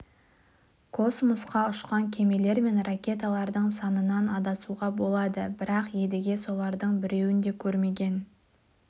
космосқа ұшқан кемелер мен ракеталардың санынан адасуға болады бірақ едіге солардың біреуін де көрмеген